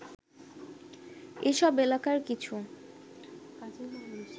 এসব এলাকার কিছু